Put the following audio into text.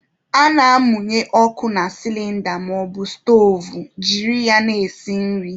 A na-amụnye ọkụ na sịlịnda maọbụ stoovu jiri ya na-esi nri.